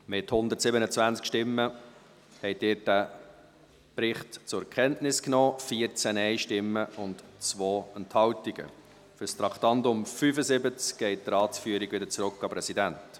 Sie haben den Bericht ohne Planungserklärungen zur Kenntnis genommen, mit 127 Ja- gegen 14 Nein-Stimmen bei 2 Enthaltungen.